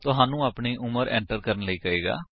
ਤੁਹਾਨੂੰ ਆਪਨੀ ਉਮਰ ਐਟਰ ਕਰਨ ਲਈ ਕਹੇਗਾ